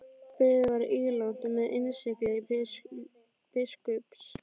Bréfið var ílangt og með innsigli biskups.